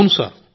అవును సార్